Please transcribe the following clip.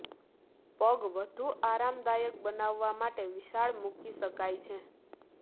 પગ વધુ આરામદાયક બનાવવા માટે વિશાળ મૂકી શકાય છે